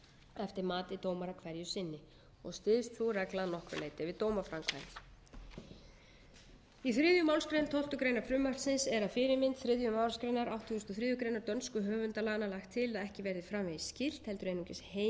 eftir mati dómara hverju sinni og styðst sú regla að nokkru leyti við dómaframkvæmd í þriðju málsgrein tólftu greinar frumvarpsins er að fyrirmynd þriðju málsgreinar áttugustu og þriðju grein dönsku höfundalaganna er lagt til að ekki verði framvegis skylt heldur einungis heimilt